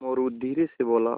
मोरू धीरे से बोला